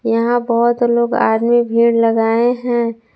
यहां बहोत लोग आदमी भीड़ लगाए है।